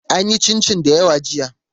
An yi cincin dayawa jiya.